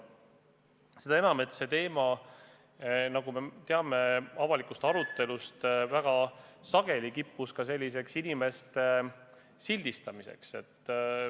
Seda enam, et selle teema puhul – nagu me avalikust arutelust teame – kiputi väga sageli inimesi sildistama.